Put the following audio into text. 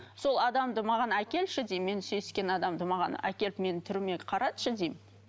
сол адамды маған әкелші деймін мен сүйіскен адамды маған әкеліп менің түріме қаратшы деймін